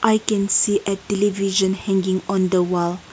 we can see a television hanging on the wall.